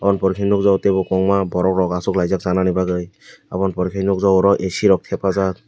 oboni pore ke nogjago teibo kwbangma borok rok achuklaijak chanani bagwi aboni pore khe nukjakgo oro ac rok thepajak.